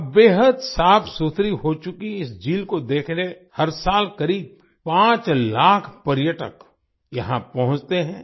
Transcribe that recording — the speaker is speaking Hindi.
अब बेहद साफ़सुथरी हो चुकी इस झील को देखने हर साल करीब 5 लाख पर्यटक यहां पहुंचते हैं